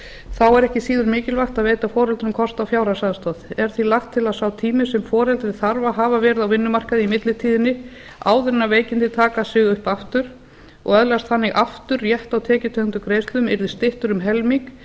þá er ekki síður mikilvægt að veita foreldrum kost á fjárhagsaðstoð er því lagt til að sá tími sem foreldri þarf að hafa verið á vinnumarkaði í millitíðinni áður en veikindin taka sig upp aftur og öðlast þannig aftur rétt á tekjutengdum greiðslum yrði styttur um helming